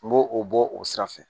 N b'o o bɔ o sira fɛ